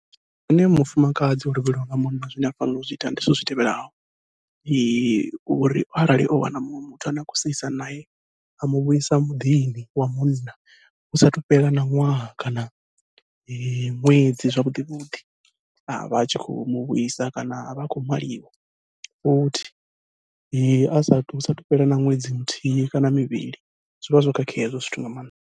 Zwine mufumakadzi o lovheliwa nga munna zwine a fanela u zwi ita ndi zwithu zwi tevhelaho, uri arali o wana muṅwe muthu ane a khou seisa nae, a muvhuisa muḓini wa munna hu sathu fhela na ṅwaha kana ṅwedzi zwavhuḓi vhuḓi a vha atshi khou muvhuisa kana a vha a khou maliwa, futhi a sathu hu sathu fhela na ṅwedzi muthihi kana mivhili zwi vha zwo khakhea hezwo zwithu nga maanḓa.